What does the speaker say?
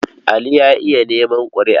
Ali ya iya neman ƙuri''a.